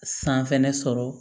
San fɛnɛ sɔrɔ